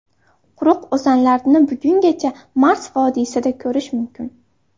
Quruq o‘zanlarni bugungacha Mars vodiysida ko‘rish mumkin.